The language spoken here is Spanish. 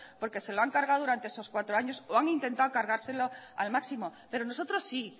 porque se lo han cargado durante esos cuatro años o han intentado cargárselo al máximo pero nosotros sí